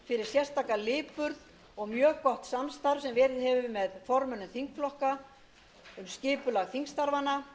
sérstaka lipurð og mjög gott samstarf sem verið hefur með formönnum þingflokka um skipulag þingstarfanna